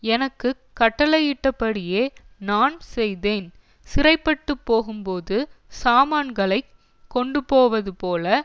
எனக்கு கட்டளையிட்டபடியே நான் செய்தேன் சிறைப்பட்டுப்போகும்போது சாமான்களைக் கொண்டுபோவதுபோல